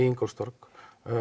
Ingólfstorg